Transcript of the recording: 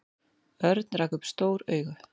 Örn rak upp stór augu.